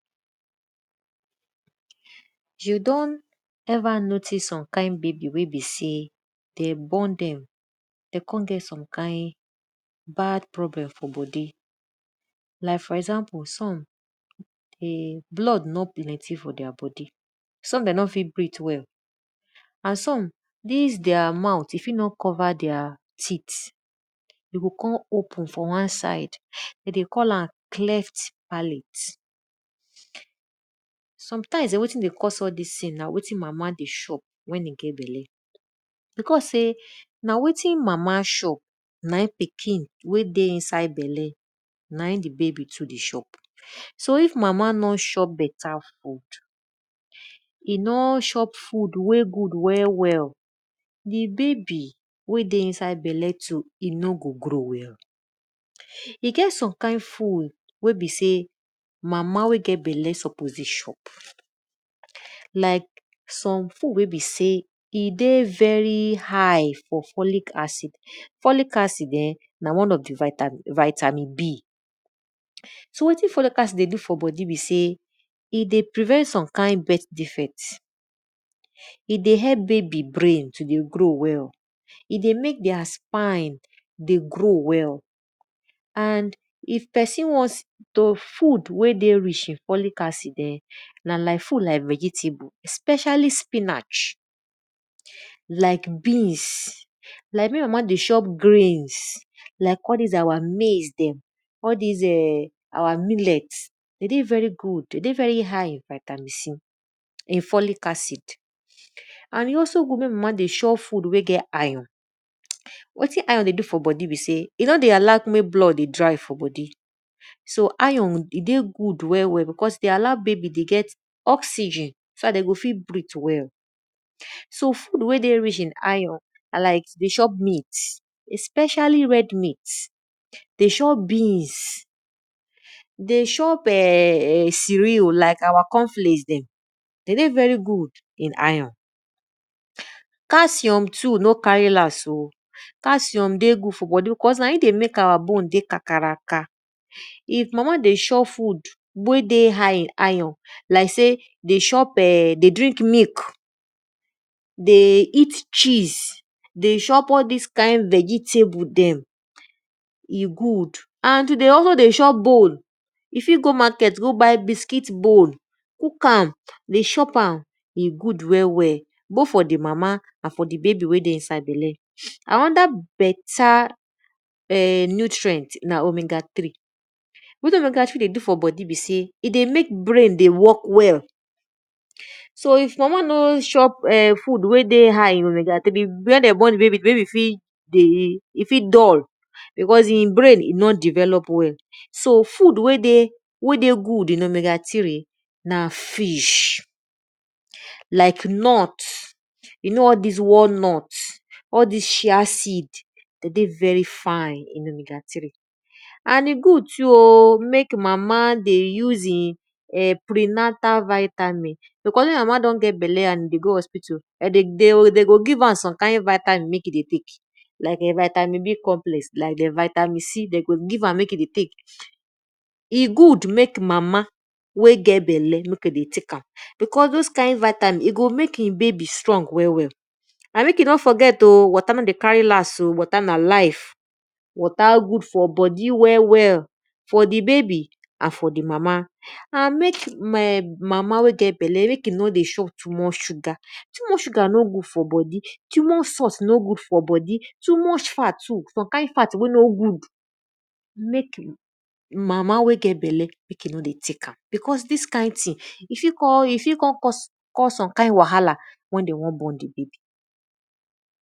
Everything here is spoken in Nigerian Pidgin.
You don ever notice some kind baby weybe sey dem born dem de kon get some kind bad problem fr bodi.like for example some e blood no plenty for their bodi, some may no fit breath well and some dis their mouth e fit no cover their teeth, e go kon open for wan side we dey call am cleft palate. Sometimes[um]wetin dey cause all dis thing na wetin mama dey chop wen e get belle. Because sey na wetin mama chop na in pikin wey e dey inside belle na in di baby too dey chop. So if mama no chop beta food, e nor chop food wen good well well, di baby wey dey inside belle too e no go grow well. E get some kind food wey be sey mama wey get belle suppose dey chop. Like some food wey be sey e dey very high for folic acid. Folic aid[um]na one of di vitamin B. so wetin folic acid dey do for bodi be sey e dey prevent some bodi defect, e dey help baby brain to dey grow well, e dey mek their spine dey grow well, and if pesin want food wey dey ricjh na folic acid[um]na like food like vegetable especially spinach like greens, like me wey no dey chop greens, like all dis eh our maize dem all dis our millet, de dey very good dey dey very hight vitamin C folic acid.and e also good mek mama dey chop food wey get iron, wetin iron dey do for bodi be sey e no dey allo mek blood dey dry for bodi, so iron e dey good well well cause dde allow baba dey get oxygen so dat de go fit breath well well. So food wey dey rich in iron na like dey chop meat, especially red meat, dey chop beans, dey chop ehhhn ceareal like our conrflakes dem de dey very good in iron. Calcium too no carry last oh, calcium too dey very good for bodi cause n aim dey mek our bone dey kakaraka. If mama dey chop food wey dey high in iron like sey de chop[um]de drink milk, dey eat cheese, dey chop all dis kind veetables dem, e good. and to d ey always dey chop bone, e go also go markt go buy biscuit bone, dey chop am e good well well.both for di mama and for di baby wey dey inside bele. Anoda beta nutrient na omega3. Wetin e dey do for bodi be sey e dey mek brain dey work well, so if mama no chop food wey dey high wen dem born di baby di baby fit dull because di brain nor develop well. So food wey dey good in omega3 na fish. Like nut, u know all dis walnut all dis sed, de dey very fine in omega3 and e good too oh mek mama dey use I prenaltal vitamin because wen mama don get belle and e dey go hospital, de go give am some kind vatimin mek e dey tek like vitamin B complex like[um]vitamin C de go give am mek e dey tek.e good mek mama wey get belle dey tek am because those kind vitamin e go mek e babay strong well well. And mek we no forget o sey water no dey carry last o water na life, water good for bodi well well well for di baby and for di mama and mek mama wey get belle mek e no dey chop too much sugar. Too much salt too no good fr bodi, too much fat too no good for bodi some kind fat no good mek mama wey get belle mek e no dey tek am because di kind thing e fit kon cause some kind wahala wen de won born di baby.